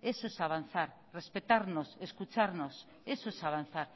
eso es avanzar respetarnos escucharnos eso es avanzar